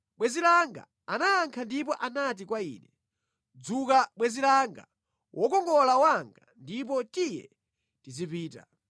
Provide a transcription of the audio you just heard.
Bwenzi langa anayankha ndipo anati kwa ine, “Dzuka bwenzi langa, wokongola wanga, ndipo tiye tizipita.